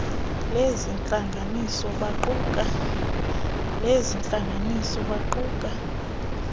lezi ntlanganiso baquka